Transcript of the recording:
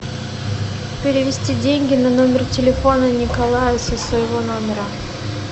перевести деньги на номер телефона николая со своего номера